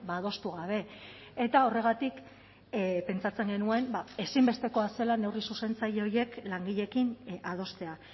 adostu gabe eta horregatik pentsatzen genuen ezinbestekoa zela neurri zuzentzaile horiek langileekin adostea